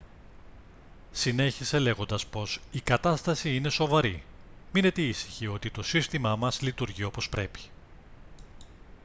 συνέχισε λέγοντας πως «η κατάσταση είναι σοβαρή. μείνετε ήσυχοι ότι το σύστημά μας λειτουργεί όπως πρέπει»